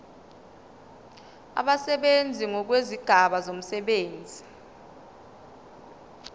abasebenzi ngokwezigaba zomsebenzi